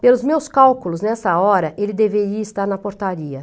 Pelos meus cálculos, nessa hora, ele deveria estar na portaria.